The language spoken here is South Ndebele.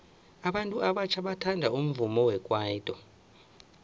abantu abatjha bathanda umvumo wekwaito